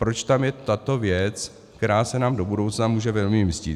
Proč tam je tato věc, která se nám do budoucna může velmi vymstít?